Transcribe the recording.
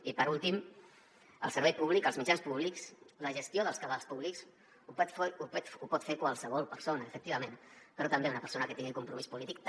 i per últim el servei públic els mitjans públics la gestió dels cabals públics ho pot fer qualsevol persona efectivament però una persona que tingui compromís polític també